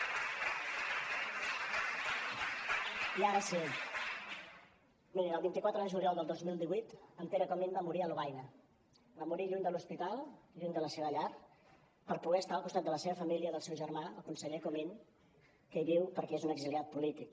mirin el vint quatre de juliol del dos mil divuit en pere comín va morir a lovaina va morir lluny de l’hospital lluny de la seva llar per poder estar al costat de la seva família del seu germà el conseller comín que hi viu perquè és un exiliat polític